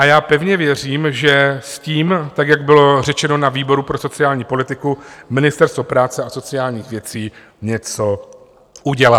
A já pevně věřím, že s tím tak, jak bylo řečeno na výboru pro sociální politiku, Ministerstvo práce a sociálních věcí něco udělá.